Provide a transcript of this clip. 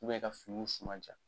ka finiw suma ja.